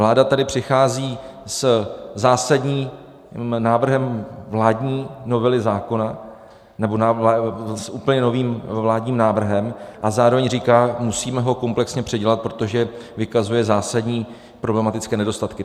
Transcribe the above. Vláda tady přichází se zásadním návrhem vládní novely zákona, nebo s úplně novým vládním návrhem, a zároveň říká, musíme ho komplexně předělat, protože vykazuje zásadní problematické nedostatky.